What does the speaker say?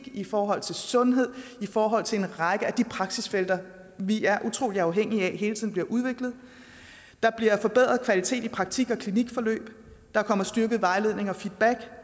i forhold til sundhed i forhold til en række af de praksisfelter vi er utrolig afhængige af hele tiden bliver udviklet der bliver forbedret kvalitet i praktik og klinikforløb der kommer styrket vejledning og feedback